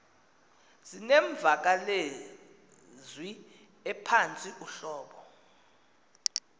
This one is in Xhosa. zinemvakalezwi ephantsi uhlobo